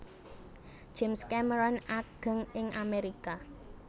James Cameron ageng ing Amerika